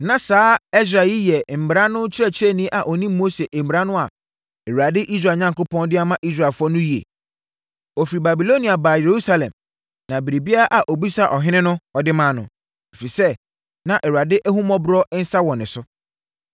Na saa Ɛsra yi yɛ mmara no kyerɛkyerɛni a ɔnim Mose mmara no a Awurade, Israel Onyankopɔn, de ama Israelfoɔ no yie. Ɔfiri Babilonia baa Yerusalem na biribiara a ɔbisaa ɔhene no, ɔde maa no, ɛfiri sɛ, na Awurade ahummɔborɔ nsa no wɔ ne so.